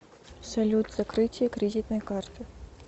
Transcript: салют закрытие кредитной карты